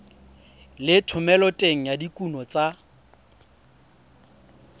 le thomeloteng ya dikuno tsa